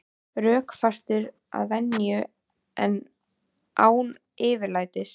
Rökfastur að venju en án yfirlætis.